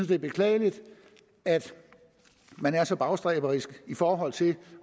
det er beklageligt at man er så bagstræberisk i forhold til